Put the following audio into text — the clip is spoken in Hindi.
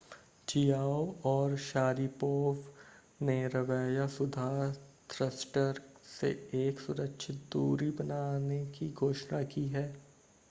चियाओ और शारिपोव ने रवैया सुधार थ्रस्टर से एक सुरक्षित दूरी बनाने की घोषणा की है